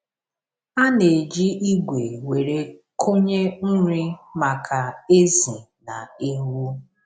A na-eji igwe were kụnye nri maka ezì na ewu.